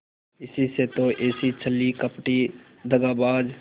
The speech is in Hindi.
इसी से तो ऐसी छली कपटी दगाबाज